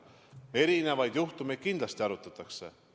Erinevaid juhtumeid kindlasti arutatakse.